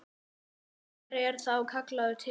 Hver er þá kallaður til?